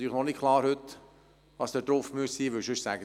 Heute ist natürlich noch nicht klar, was dann dort möglich ist.